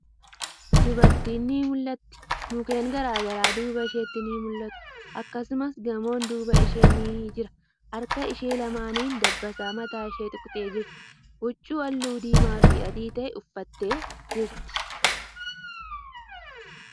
Dubartiin ni mul'atti. Mukkeen garagaraa duuba isheetti ni mul'atu. Akkasumas, gamoon duuba ishee ni jira. Harka ishee lamaanin dabbasaa mataa ishee tuqxee jirti. Huccuu haalluu diimaa fii adii ta'e uffattee jirti.